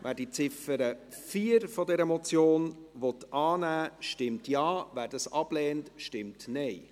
Wer die Ziffer 4 dieser Motion annehmen will, stimmt Ja, wer dies ablehnt stimmt Nein.